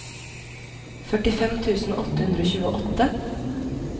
førtifem tusen åtte hundre og tjueåtte